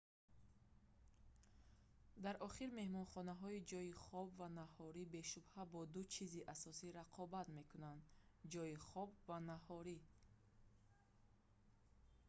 дар охир меҳмонхонаҳои ҷойи хоб ва наҳорӣ бешубҳа бо ду чизи асосӣ рақобат мекунанд ҷойи хоб ва наҳорӣ